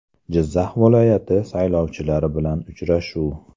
Jizzax viloyati saylovchilari bilan uchrashuv.